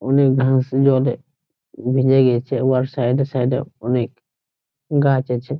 অনেক ঘাস জলে ভিজে গেছে সাইড এ সাইড এ অনেক গাছ আছে।